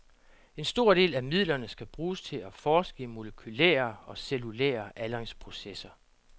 En stor del af midlerne skal bruges til at forske i molekylære og cellulære aldringsprocesser.